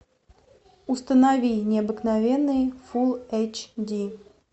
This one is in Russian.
установи необыкновенный фул эйч ди